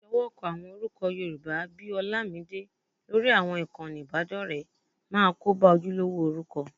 Ìṣọwọ́kọ àwọn orúkọ Yorùbá bí i Horlamide lórí àwọn ìkànnì ìbádọ́rẹ̀ẹ́ máa kóba ojúlówó orúkọ